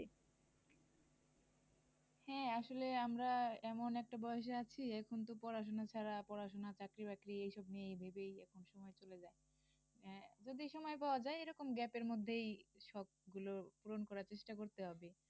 হ্যা আসলে আমরা এমন একটা বয়সে আছি এখন তো পড়াশুনা ছাড়া পড়াশুনা চাকরি বাকরি এই সব নিয়েই ভেবেই এখন্ সময় চলে যায়। আহ যদি সময় পাওয়া যায় এরকম gape এর মধ্যেই সব গুলো পূরণ করার চেষ্টা করতে হবে।